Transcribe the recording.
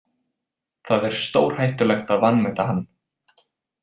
Það er stórhættulegt að vanmeta hann.